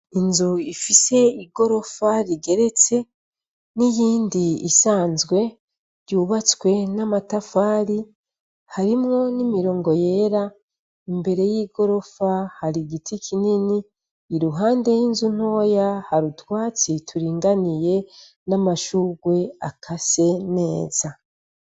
Inzu ifise igorofa rigeretse n'iyindi isanzwe yubatswe n'amatafari harimwo n'imirongo yera. Imbere y'igorofa har'igiti kinini, iruhande y'inzu ntoya har'utwatsi turinganiye n'amashurwe akase neza.